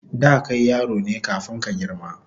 Da kai yaro ne kafun ka girma